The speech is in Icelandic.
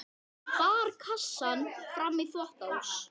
Hún bar kassann fram í þvottahús.